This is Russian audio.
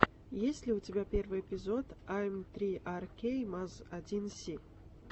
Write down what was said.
есть ли у тебя первый эпизод эм три ар кей маз один си